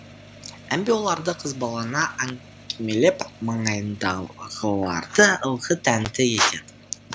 әмбе оларды қызбалана әңгімелеп маңайындағыларды ылғи тәнті ететін